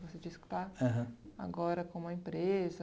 Você disse que está. Aham. Agora com uma empresa.